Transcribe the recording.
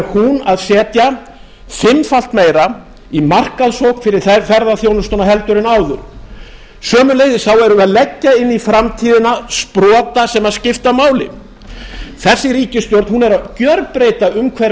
hún að setja fimmfalt meira í markaðssókn fyrir ferðaþjónustuna en áður sömuleiðis erum við að leggja inn í framtíðina sprota sem skipta máli þessi ríkisstjórn er að gjörbreyta umhverfi